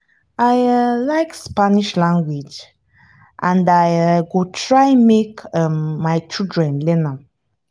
i um like spanish language and i um go try make um my children learn am